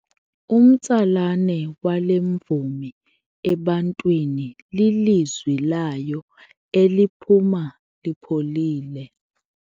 Umtsalane wale mvumi ebantwini lilizwi layo eliphuma lipholile.